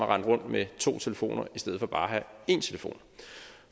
rende rundt med to telefoner i stedet for bare at have én telefon